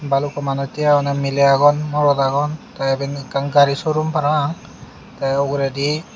balukko manuj tiye agonney miley agon morot agon tey iben ekkan gari sorum parapang tey uguredi.